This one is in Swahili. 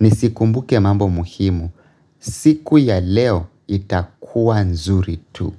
nizikumbuke mambo muhimu, siku ya leo itakuwa nzuri tu.